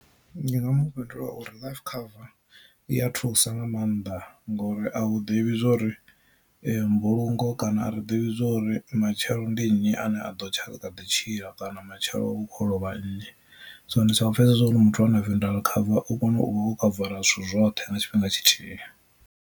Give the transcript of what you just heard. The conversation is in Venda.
Ndi nga mu fhindula uri life cover iya thusa nga maanḓa ngori a u ḓivhi zwori mbulungo kana a ri ḓivhi zwori matshelo ndi nnyi ane a ḓo tsha ḽi kha ḓi tshila kana matshelo hu kho lovha nnyi, so ndi soko pfhesesa zwori muthu ana funeral cover u kona u vha wo khavara zwithu zwoṱhe na tshifhinga tshithihi.